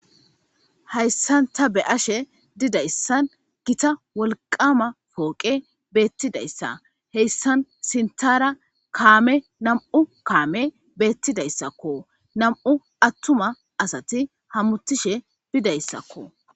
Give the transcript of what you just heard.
Hlayssan tabeashe dizzaysi gitta wolqama poqqenn nam77u kamma makinati bentidayssakko nam77u atumati hemetish dizzayssakko.